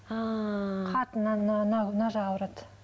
мына жағы ауырады